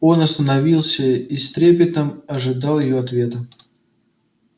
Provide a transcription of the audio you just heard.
он остановился и с трепетом ожидал её ответа